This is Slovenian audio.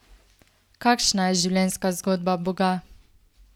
Kakšna je življenjska zgodba Boga?